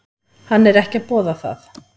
Hann er ekki að boða það.